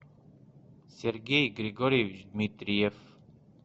сергей григорьевич дмитриев